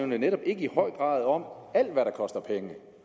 netop i høj grad om alt hvad der koster penge